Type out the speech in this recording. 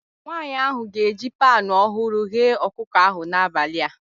Nwanyị ahụ ga-eji panu ọhụrụ ghee ọkụkọ ahụ n'abalị a